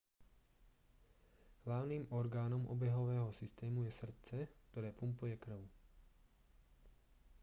hlavným orgánom obehového systému je srdce ktoré pumpuje krv